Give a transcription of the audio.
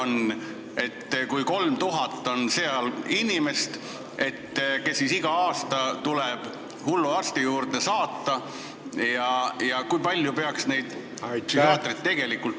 Kui seal on 3000 inimest, kes iga aasta tuleb hulluarsti juurde saata, siis kui palju peaks neid psühhiaatreid tegelikult ...